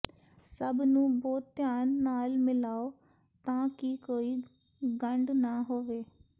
ਸਭ ਨੂੰ ਬਹੁਤ ਧਿਆਨ ਨਾਲ ਮਿਲਾਓ ਤਾਂ ਕਿ ਕੋਈ ਗੰਢ ਨਾ ਹੋਵੇ